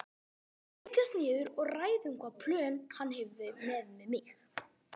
Við munum setjast niður og ræða um hvaða plön hann hefur með mig.